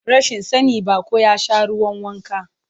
Rashin sani, baƙo ya sha ruwan wanka.